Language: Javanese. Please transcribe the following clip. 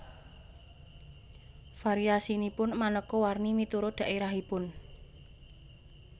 Variasinipun manéka warni miturut dhaérahipun